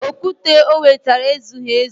Okwute o wetara ezughị ezu